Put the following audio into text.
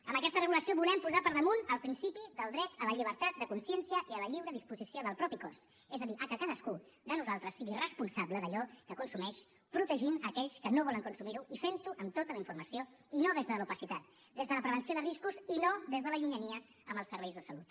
amb aquesta regulació volem posar per damunt el principi del dret a la llibertat de consciència i a la lliure disposició del propi cos és a dir a que cadascú de nosaltres sigui responsable d’allò que consumeix protegir aquells que no volen consumir ho i ferho amb tota la informació i no des de l’opacitat des de la prevenció de riscos i no des de la llunyania amb els serveis de salut